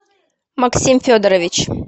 максим федорович